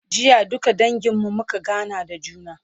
jiya duka dangin mu muka gana da juna